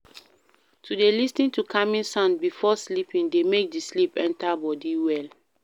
To de lis ten to calming sounds before sleeping de make di sleep enter body well